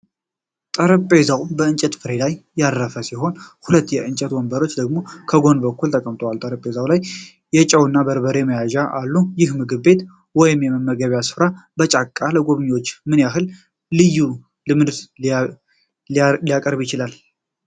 ጠረጴዛው በእንጨት ፍሬም ላይ ያረፈ ሲሆን፣ ሁለት የእንጨት ወንበሮች ደግሞ በጎን በኩል ተቀምጠዋል፤ በጠረጴዛው ላይም የጨውና በርበሬ መያዣዎች አሉ። ይህ ምግብ ቤት ወይም የመመገቢያ ስፍራ በጫካ ፣ ለጎብኚዎች ምን አይነት ልዩ ልምድን ሊያቀርብ ይችላል?